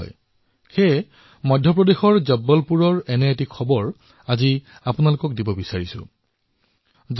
সেইবাবে যেতিয়া মই মধ্যপ্ৰদেশৰ জব্বলপুৰৰ এটা খবৰ পঢ়িবলৈ পালো তেতিয়া মই মন কী বাতত এই বিষয়ে আলোচনা কৰাটো উচিত বুলি ভাবিলো